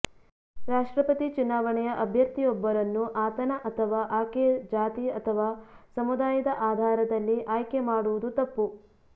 ರಾಷ್ಟ್ರಪತಿ ಚುನಾವಣೆಯ ಅಭ್ಯರ್ಥಿಯೊಬ್ಬರನ್ನು ಆತನ ಅಥವಾ ಆಕೆಯ ಜಾತಿ ಅಥವಾ ಸಮುದಾಯದ ಆಧಾರದಲ್ಲಿ ಆಯ್ಕೆ ಮಾಡುವುದು ತಪ್ಪು